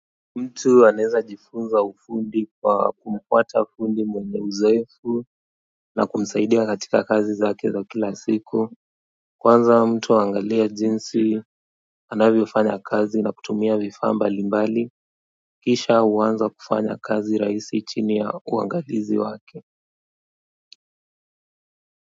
Mtu anaeza jifunza ufundi kwa kumpata fundi mwenye uzoefu na kumsaidia katika kazi zake za kila siku kwanza mtu aangalie jinsi anavyo fanya kazi na kutumia vifaa mbali mbali kisha huwanza kufanya kazi rahisi chini ya uangalizi wake.